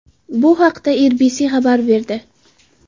Bu haqda RBC xabar berdi.